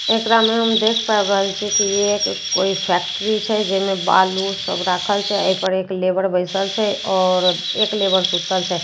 एकरा में हम देख पाबि रहल छै की ये एक कोई फैक्ट्री छै जाहि मे बालू सब राखल छै। एहि पर एक लेबर बैसल छै आओर एक लेबर सुतल छै --